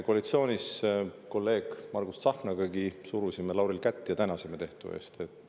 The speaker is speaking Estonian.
Koalitsioonis kolleeg Margus Tsahknagagi surusime Lauril kätt ja tänasime tehtu eest.